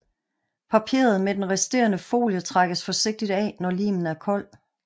Papiret med den resterende folie trækkes forsigtigt af når limen er kold